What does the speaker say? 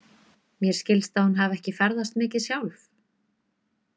Mér skilst að hún hafi ekki ferðast mikið sjálf?